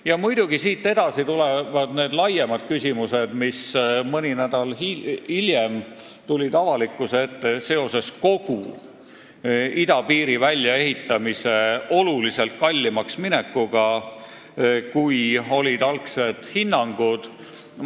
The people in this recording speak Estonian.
Ja muidugi siit edasi tulevad need küsimused, mis mõni nädal hiljem tulid avalikkuse ette, kui selgus, et kogu idapiiri väljaehitamine läheb märksa kallimaks, kui olid algsed hinnangud.